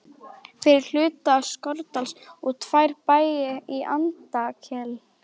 fyrir hluta Skorradals og tvo bæi í Andakíl.